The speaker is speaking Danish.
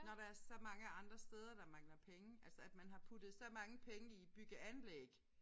Når der er så mange andre steder der mangler penge altså at man har puttet så mange penge i bygge anlæg